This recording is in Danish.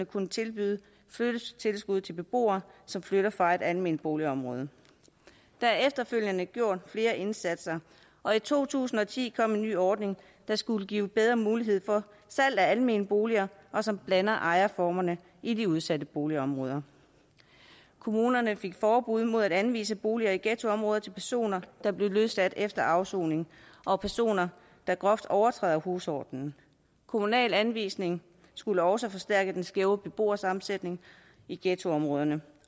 kunne tilbyde flyttetilskud til beboere som flytter fra et alment boligområde der er efterfølgende gjort flere indsatser og i to tusind og ti kom en ny ordning der skulle give bedre mulighed for salg af almene boliger og som blander ejerformerne i de udsatte boligområder kommunerne fik forbud mod at anvise boliger i ghettoområder til personer der er blevet løsladt efter afsoning og personer der groft overtræder husordenen kommunal anvisning skulle også forstærke den skæve beboersammensætning i ghettoområderne